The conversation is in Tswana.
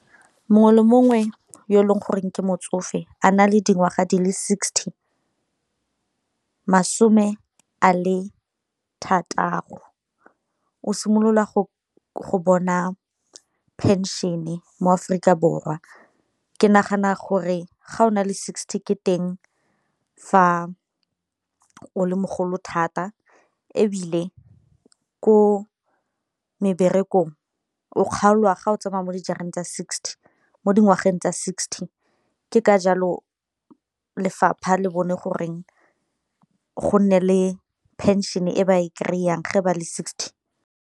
Mongwe le mongwe yo e leng goreng ke motsofe a na le dingwaga di le sixty, masome a le thataro o simolola go go bona pension e mo Aforika Borwa ke nagana gore ga o na le sixty ke teng fa o le mogolo thata, ebile ko meberekong o kgaolwa ga o tsamaya mo tsa sixty mo dingwageng tsa sixty. Ke ka jalo lefapha le bone goreng go nne le pension e ba e kry-ang ge ba le sixty.